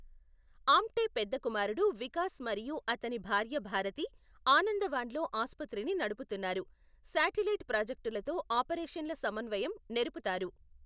ఆమ్టే పెద్ద కుమారుడు వికాస్ మరియు అతని భార్య భారతి ఆనందవాన్లో ఆసుపత్రిని నడుపుతున్నారు, శాటిలైట్ ప్రాజెక్టులతో ఆపరేషన్ల సమన్వయం నెరుపుతారు.